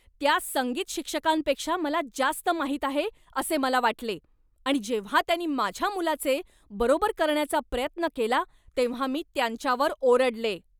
त्या संगीत शिक्षकांपेक्षा मला जास्त माहीत आहे असे मला वाटले आणि जेव्हा त्यांनी माझ्या मुलाचे बरोबर करण्याचा प्रयत्न केला तेव्हा मी त्यांच्यावर ओरडले.